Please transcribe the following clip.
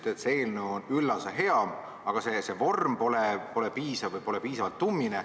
Te ütlesite, et see eelnõu on üllas ja hea, aga see vorm pole piisav või pole piisavalt tummine.